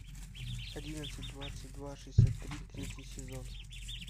одиннадцать двадцать два шестьдесят три третий сезон